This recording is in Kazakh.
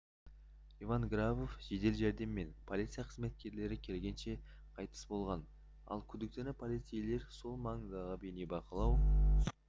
иван грабов жедел жәрдем мен полиция қызметкерлері келгенше қайтыс болған ал күдіктіні полицейлер сол маңдағы бейнебақылау